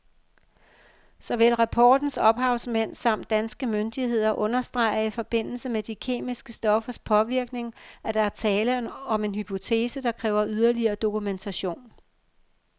Såvel rapportens ophavsmænd samt danske myndigheder understreger i forbindelse med de kemiske stoffers påvirkning, at der er tale om en hypotese, der kræver yderligere dokumentation.